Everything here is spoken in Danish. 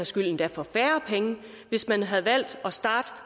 skyld endda for færre penge hvis man havde valgt at starte